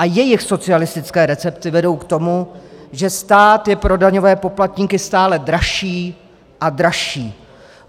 A jejich socialistické recepty vedou k tomu, že stát je pro daňové poplatníky stále dražší a dražší.